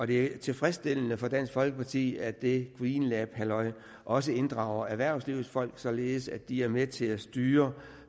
det er tilfredsstillende for dansk folkeparti at det green labs halløj også inddrager erhvervslivets folk således at de er med til at styre